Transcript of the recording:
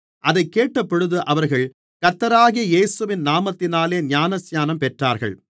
அதைக் கேட்டபொழுது அவர்கள் கர்த்தராகிய இயேசுவின் நாமத்தினாலே ஞானஸ்நானம் பெற்றார்கள்